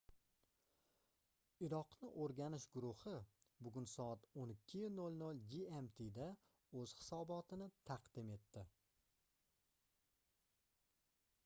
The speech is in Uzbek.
iroqni oʻrganish guruhi bugun soat 12:00 gmt da oʻz hisobotini taqdim etdi